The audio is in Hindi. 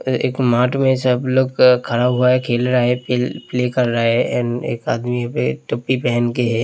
अ एक मार्ट में सब लोग खड़ा हुआ है खेल रहा है पेल प्ले कर रहा है एंड एक आदमी वे टोपी पहन के है।